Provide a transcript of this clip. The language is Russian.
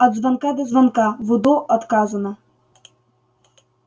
от звонка до звонка в удо отказано